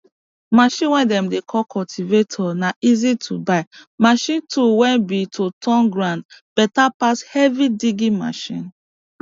machine way dem dey call cultivator na easy to buy machine tool way be to turn ground beta pass heavy digging machine